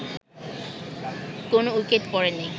কোন উইকেট পড়েনি